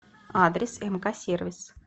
адрес мк сервис